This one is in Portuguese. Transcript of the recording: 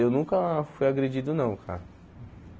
Eu nunca fui agredido, não, cara.